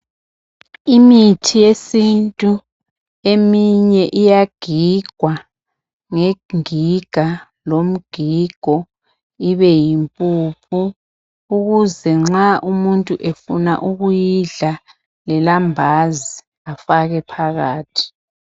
Imithi yesintu eminye iyagigwa ngengiga lomgigo ibe yimpuphu ukuze nxa umuntu efuna ukuyidla lelambazi afake phakathi.